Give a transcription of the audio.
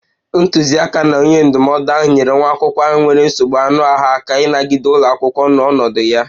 Ntuziaka na onye ndụmọdụ ahụ nyeere nwa akwụkwọ ahụ nwere nsogbu anụ ahụ aka ịnagide ụlọ akwụkwọ n'ọnọdụ ya